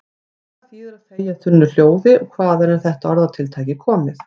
Hvað þýðir að þegja þunnu hljóði og hvaðan er þetta orðatiltæki komið?